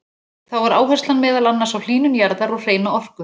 Þá var áherslan meðal annars á hlýnun jarðar og hreina orku.